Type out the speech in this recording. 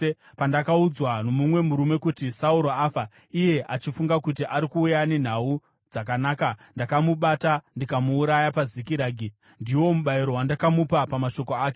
pandakaudzwa nomumwe murume kuti, ‘Sauro afa,’ iye achifunga kuti ari kuuya nenhau dzakanaka, ndakamubata ndikamuuraya paZikiragi. Ndiwo mubayiro wandakamupa pamashoko ake!